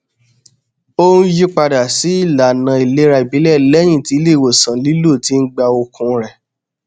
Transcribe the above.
ó n yí padà sí ìlànà ìlera ìbílẹ lẹyìn tí ilé ìwòsàn lílọ ti gba okun rẹ